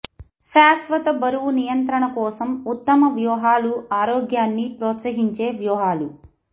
శాశ్వత బరువు నియంత్రణ కోసం ఉత్తమ వ్యూహాలు ఆరోగ్యాన్ని ప్రోత్సహించే వ్యూహాలు